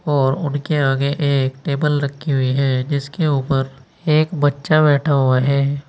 और उनके आगे एक टेबल रखी हुई है जिसके ऊपर एक बच्चा बैठा हुआ है।